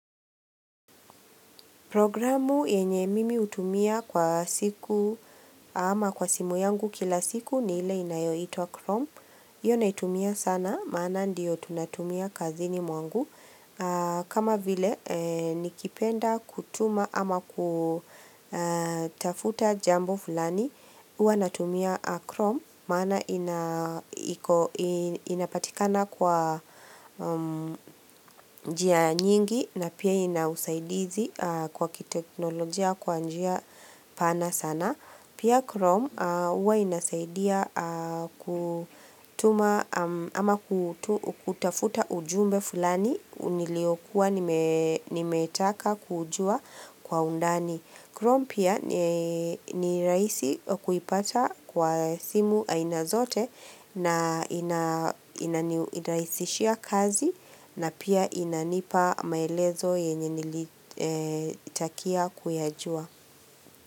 Programu yenye mimi utumia kwa siku ama kwa simu yangu kila siku ni ile inayo itwa chrome. Iyo na itumia sana, maana ndiyo tunatumia kazini mwangu. Kama vile nikipenda kutuma ama kutafuta jambo fulani, huwa natumia chrome. Maana inapatikana kwa njia nyingi na pia inausaidizi kwa kiteknolojia kwa njia pana sana. Pia Chrome uwa inasaidia kutuma ama kutafuta ujumbe fulani uniliokuwa nimetaka kujua kwa undani. Chrome pia ni raisi kuipata kwa simu aina zote na inaniraisishia kazi na pia inanipa maelezo yenye nilitaka kuyajua.